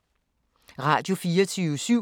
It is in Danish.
Radio24syv